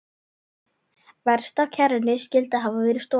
Verst að kerrunni skyldi hafa verið stolið.